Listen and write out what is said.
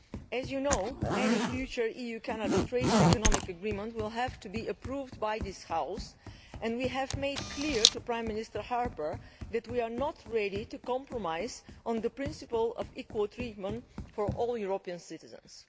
As you know, any future EU Canada economic and trade agreement will have to be approved by this House, and we have made clear to Prime Minister Harper that we are not ready to compromise on the principle of equal treatment for all European citizens.